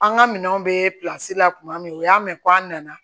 An ka minɛnw bɛ la kuma min u y'a mɛn ko an nana